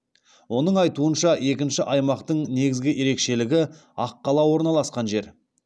оның айтуынша екінші аймақтың негізгі ерекшелігі аққала орналасқан жер